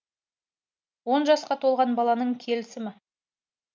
он жасқа толған баланың келісімі